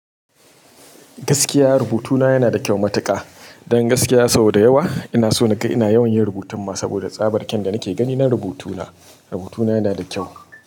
Gaskiya rubutuna yana da kyau matuƙa. Don gaskiya sau da yawa ina so na ga ina yawan yin rubutun ma saboda tsabar kyan da nake gani na rubutuna. Rubutuna yana da kyau.